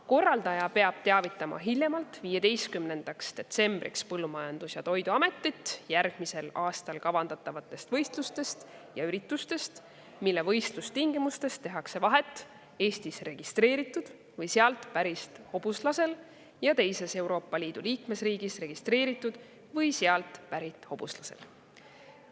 Korraldaja peab teavitama hiljemalt 15. detsembriks Põllumajandus‑ ja Toiduametit järgmisel aastal kavandatavatest võistlustest ja üritustest, mille võistlustingimustes tehakse vahet Eestis registreeritud või siit pärit hobuslasel ja teises Euroopa Liidu liikmesriigis registreeritud või sealt pärit hobuslasel.